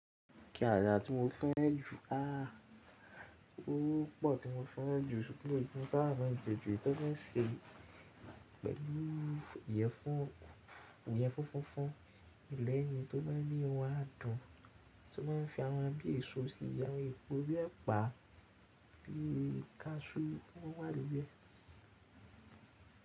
Kí àdá tí mo fẹ́ jù? Aà! Ó pọ̀ tí mo fẹ́ jù ṣùgbọ́n ìbọn táa máa jẹ́ ju, tó fẹ́ ṣe pẹ̀lú ìyẹ̀fun fófó, ilẹ̀ ẹni tó bá ní o á dọ̀n, tí ó máa ń fi ẹran bíi èso sí i, yà á epo bí ẹ pa á, fi kasú fún wá níbí rẹ̀.